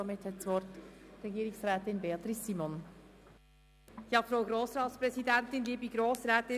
Somit hat Regierungsrätin Beatrice Simon das Wort.